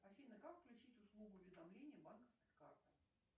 афина как включить услугу уведомления банковской карты